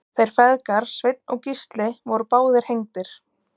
Þeir feðgar Sveinn og Gísli voru báðir hengdir.